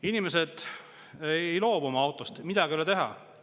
Inimesed ei loobu oma autost, midagi ei ole teha.